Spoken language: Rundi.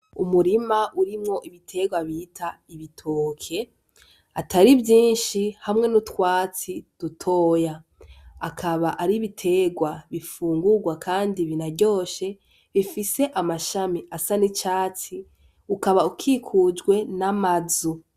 Umurima urimwo ibiterwa bita ibitoke atari vyinshi hamwe n'utwatsi dutoya akaba ari ibiterwa bifungurwa kandi binaryoshe bifise amashami asa n'icatsi ukaba ukikujwe n'amazu.